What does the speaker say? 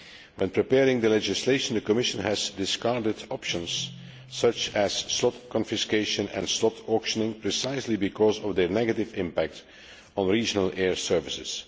In preparing the legislation, the Commission has discounted options such as slot confiscation and slot auctioning precisely because of their negative impact on regional air services.